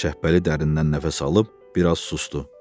Şəhpəli dərindən nəfəs alıb, bir az susdu.